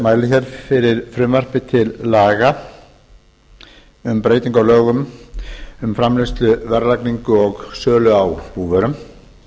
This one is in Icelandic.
lögum númer níutíu og níu nítján hundruð níutíu og þrjú um framleiðslu verðlagningu og sölu á búvörum